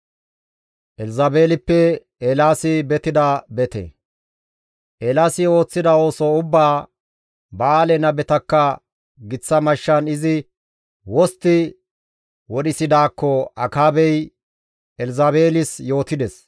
Eelaasi ooththida ooso ubbaa, Ba7aale nabetakka giththa mashshan izi wostti wodhisidaakko Akaabey Elzabeelis yootides.